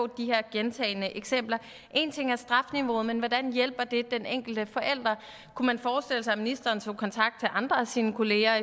de her gentagne eksempler en ting er strafniveauet men hvordan hjælper det den enkelte forældre kunne man forestille sig at ministeren tog kontakt til andre af sine kollegaer